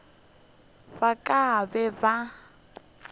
ba ka ba be ba